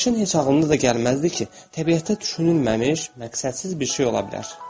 Keşişin heç ağlına da gəlməzdi ki, təbiətdə düşünülməmiş, məqsədsiz bir şey ola bilər.